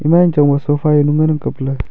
ema jangchang ba sofa jaunu ngan ang kapley.